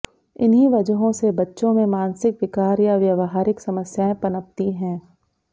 इन्हीं वजहों से बच्चों में मानसिक विकार या व्यावहारिक समस्याएं पनपती हैं